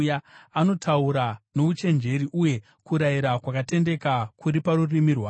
Anotaura nouchenjeri, uye kurayira kwakatendeka kuri parurimi rwake.